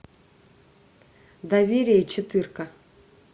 доверие четырка